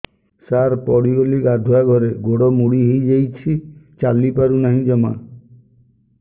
ସାର ପଡ଼ିଗଲି ଗାଧୁଆଘରେ ଗୋଡ ମୋଡି ହେଇଯାଇଛି ଚାଲିପାରୁ ନାହିଁ ଜମା